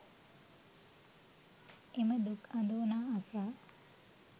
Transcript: එම දුක් අඳෝනා අසා